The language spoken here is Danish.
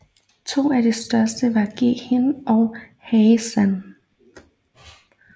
To af de største var Ghee Hin og Hai San